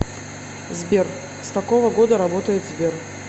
сбер с какого года работает сбер